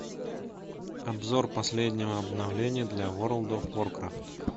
обзор последнего обновления для ворлд оф варкрафт